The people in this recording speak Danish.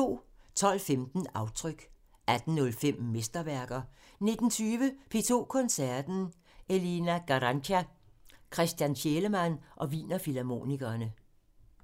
12:15: Aftryk 18:05: Mesterværker 19:20: P2 Koncerten – Elina Garanca, Christian Thielemann og Wiener Filharmonikerne 00:15: Aftryk *